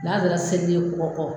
N'a sera segini kɔ tɔ.